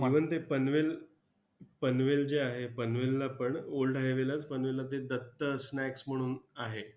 even ते पनवेल पनवेल जे आहे, पनवेलला पण old highway लाच पनवेलला ते दत्त snaks म्हणून आहे.